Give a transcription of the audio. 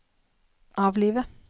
avlive